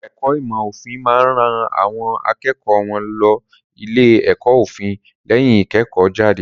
Ẹ̀ka ẹ̀kó ìmọ̀ òfin máa ń ran àwọn akẹ́kọ̀ọ́ wọn lọ ilé-ẹ̀kọ́ òfin lẹ́yìn ìkẹ́kọ̀ọ́jáde.